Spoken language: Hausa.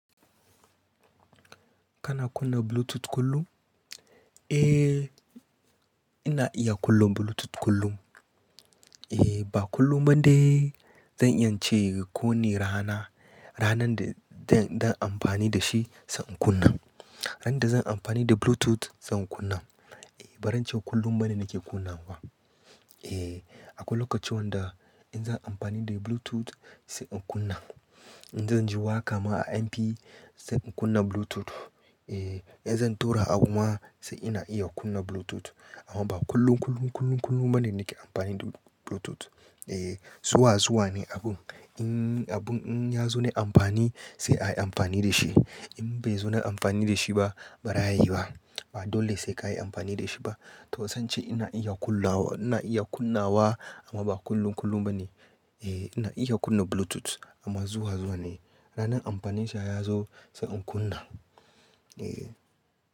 Kana kunna Bluetooth kullum? Eh, ina iya kunna Bluetooth kullum. Eh, ba kullum ba dai. Zan iya ce kowane rana, ranar da zan yi amfani da shi, sai in kunna. Ranan da zan amfani da Bluetooth zan kunna. Ba zance kullum bane nake kunna wa. Eh, akwai lokaci wanda in zan amfani da Bluetooth sai in kunna. In zan ji wa kama a MP sai in kunna Bluetooth. Eh, in zan tura abu ma sai ina iya kunna Bluetooth. Amma ba kullum, kullum, kullum, kullum ba ne nake amfani da Bluetooth. Eh, zuwa zuwa ne abun. In abun in ya zo na amfani sai a yi amfani da shi. In bai zo na amfani da shi bara ya yi ba. Ba dole sai ka yi amfani da shi ba. To zan ce ina iya kunnawa amma ba kullum, kullum ba ne. Eh, ina iya kunna Bluetooth amma zuwa zuwa ne. Ranan amfanin shi ya zo sai in kunna. Eh.